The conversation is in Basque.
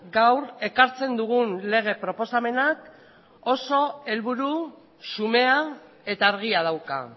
gaur ekartzen dugun lege proposamenak oso helburu xumea eta argia dauka